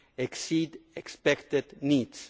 exceed expected needs.